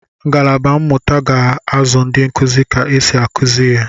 Ngalaba mmụta ga-azụ ndị nkuzi ka esi akụzi ihe